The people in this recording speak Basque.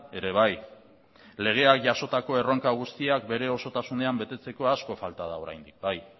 ere bai legeak jasotako erronka guztiak bere osotasunean betetzeko asko falta da oraindik bai